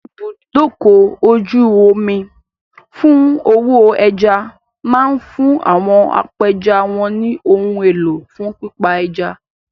Ibùdókọ̀-ojú-omi fún òwò ẹja máa fún àwọn apẹja wọn ní ohun elo fún pípa ẹja.